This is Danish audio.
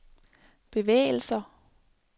bevægelser